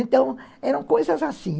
Então, eram coisas assim.